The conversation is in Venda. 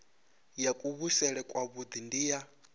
ya kuvhusele kwavhui ndi ya